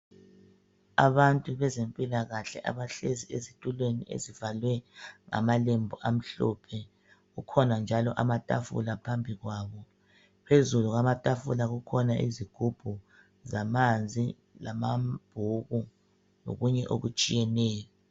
Abantu bezempilakahle abahlezi ezitulweni ezivalwe ngamalembu amhlophe. Kukhona njalo amatafula phambi kwabo. Phezulu kwamatafula kukhona izigubhu zamanzi, lamabhuku, lokunye okutshiyeneyo.